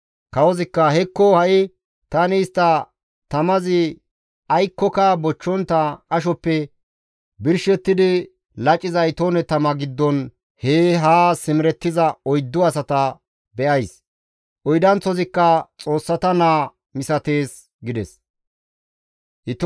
Kawozikka, «Hekko ha7i tani istta tamazi aykkoka bochchontta qashoppe birshettidi laciza itoone tama giddon hee haa simerettiza oyddu asata be7ays; oydanththozikka xoossata naa misatees» gides.